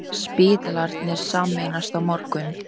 Spítalarnir sameinast á morgun